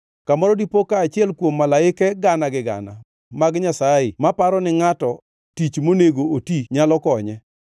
“Kamoro dipo ka achiel kuom malaike gana gi gana mag Nyasaye ma paro ni ngʼato tich monego oti nyalo konye,